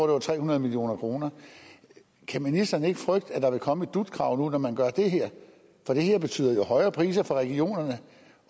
var tre hundrede million kroner kan ministeren ikke frygte at der vil komme et dut krav nu når man gør det her for det her betyder jo højere priser for regionerne